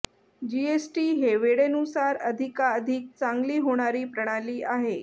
GST ही वेळेनुसार अधिकाधिक चांगली होणारी प्रणाली आहे